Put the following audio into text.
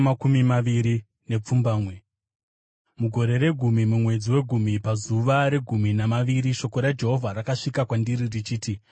Mugore regumi, mumwedzi wegumi pazuva regumi namaviri, shoko raJehovha rakasvika kwandiri richiti,